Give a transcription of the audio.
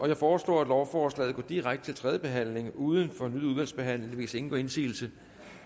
jeg foreslår at lovforslaget går direkte til tredje behandling uden fornyet udvalgsbehandling hvis ingen gør indsigelse